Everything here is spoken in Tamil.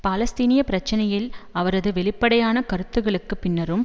பாலஸ்தீனிய பிரச்சனையில் அவரது வெளிப்படையான கருத்துக்களுக்கு பின்னரும்